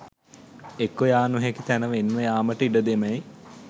එක්ව යා නොහැකි තැන වෙන්ව යාමට ඉඩ දෙමැයි